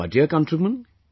My dear countrymen,